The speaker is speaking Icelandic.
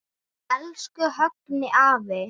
Elsku Högni afi.